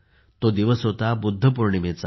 तो दिवस होता बुद्ध पौर्णिमेचा